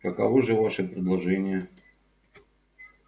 каковы же ваши предложения